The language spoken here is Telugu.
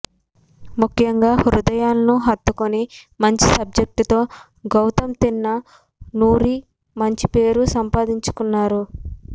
ముఖ్యంగా హృదయాలను హత్తుకునే మంచి సబ్జెక్టు తో గౌతమ్ తిన్న నూరి మంచి పేరు సంపాదించుకున్నాడు